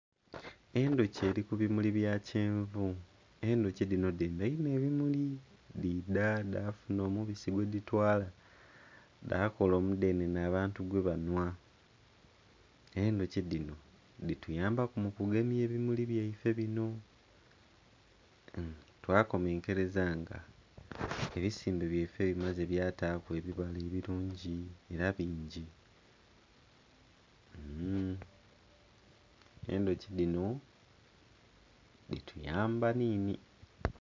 Endhuki eri ku bimuli by a kyenvu, endhuki dino dheyindhino ebimuli. Dhiidha dha funa omubisi gwe dhatwala dhakola omudenene abantu gwe banwa. Endhuki dino dhi tuyambaku mukugemyuku ebimuli byaife bino...hmm.. twakomenkereza nga ebisimbe byaife bimazze bya taaku ebibala ebirungi era bingi. Mm. Endhuki dino dhi tuyamba nini